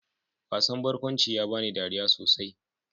Wasan barkwanci ya bani dariya sosai.